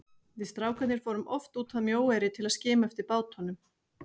Við strákarnir fórum oft út að Mjóeyri til að skima eftir bátunum.